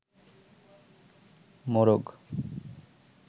মোরগ